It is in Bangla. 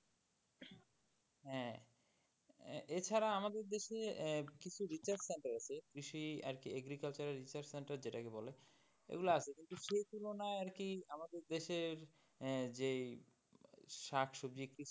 হ্যাঁ, এ~এছাড়া আমাদের দেশে কিছু research center আছে কৃষি আরকি agriculture and research center যেটা কে বলে এগুলা আছে কিন্তু সে তুলনায় আরকি আমাদের দেশের যেই শাক সবজি কৃষি,